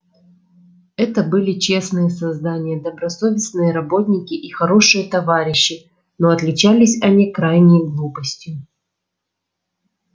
это были честные создания добросовестные работники и хорошие товарищи но отличались они крайней глупостью